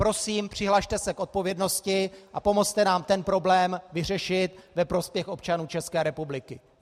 Prosím, přihlaste se k odpovědnosti a pomozte nám ten problém vyřešit ve prospěch občanů České republiky.